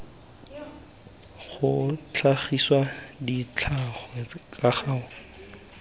go tlhagisa ditlhangwa ka go